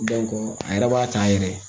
a yɛrɛ b'a ta a yɛrɛ ye